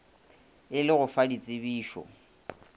e le go fa ditsebišo